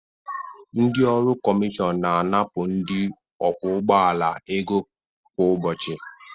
Ndị ọrụ Komision na-anapụ ndị ọkwọ ụgbọ ala ego kwa ụbọchị